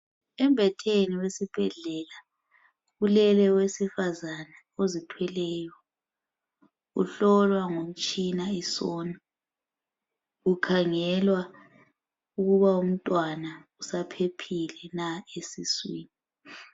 Embhedeni wesibhedlela kulele owesifazana ozithweleyo, ohlolwa ngomtshina isona .Kukhangelwa ukuba umntwana usaphephile na esiswini.